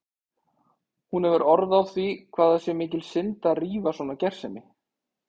Hún hefur orð á því hvað það sé mikil synd að rífa svona gersemi.